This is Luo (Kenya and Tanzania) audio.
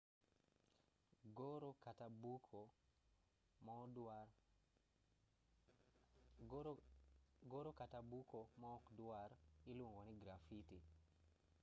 goro kata buko maokdwar iluongo ni grafiti